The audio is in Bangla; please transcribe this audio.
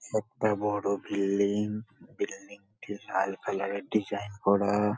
একটা বড় বিল্ডিং বিল্ডিং - টি লাল কালার -এর ডিজাইন করা।